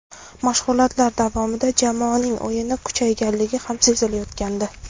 Mashg‘ulotlar davomida jamoaning o‘yini kuchayganligi ham sezilayotgandi.